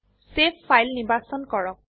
save file নিৰ্বাচন কৰক